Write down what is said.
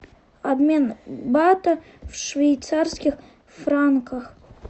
обмен бата в швейцарских франках